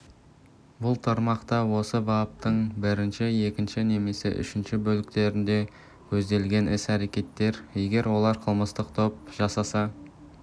бұл тармақта осы баптың бірінші екінші немесе үшінші бөліктерінде көзделген іс-әрекеттер егер оларды қылмыстық топ жасаса